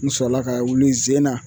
N sɔrɔla ka wuli ze in na